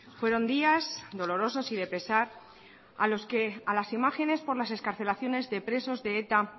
fueron días dolorosos y de pesar a los que a las imágenes por las excarcelaciones de presos de eta